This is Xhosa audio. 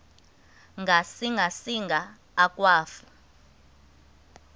ngasinga singa akwafu